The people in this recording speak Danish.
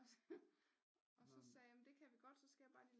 Og så så sagde jeg det kan vi godt så skal jeg bare lige